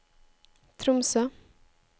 Tromsø